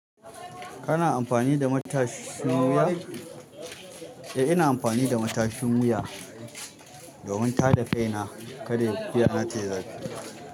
Kana amfani da matashin wuya? Eh ina amfani da matashin wuya domin tada kaina kada kain tayii zafi.